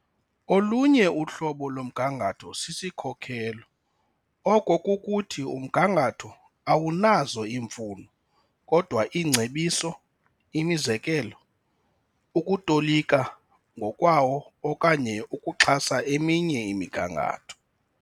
Olunye uhlobo lomgangatho sisikhokelo, oko kukuthi, umgangatho awunazo iimfuno, kodwa iingcebiso, imizekelo, ukutolika ngokwawo okanye ukuxhasa eminye imigangatho.